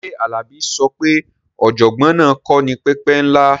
Ṣé Alabi sọ pé ọ̀jọ̀gbọ́n náà kò ní pẹpẹ ńlá?